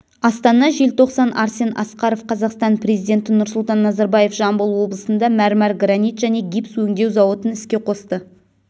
астана желтоқсан арсен асқаров қазақстан президенті нұрсұлтан назарбаев жамбыл облысында мәрмәр гранит және гипс өңдеу зауытын іске қосты